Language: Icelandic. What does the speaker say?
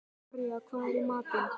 Arja, hvað er í matinn?